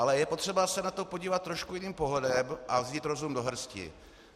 Ale je potřeba se na to podívat trošku jiným pohledem a vzít rozum do hrsti.